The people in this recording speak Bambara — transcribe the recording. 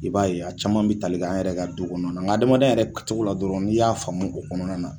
I b'a ye a caman bi tali kɛ an yɛrɛ ka du kɔnɔ na, nka adamadenya yɛrɛ kɛcogo la dɔrɔn n'i y'a faamu o kɔnɔna na